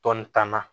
Tɔn tan na